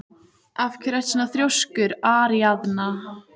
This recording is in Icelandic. Af hverju ertu svona þrjóskur, Aríaðna?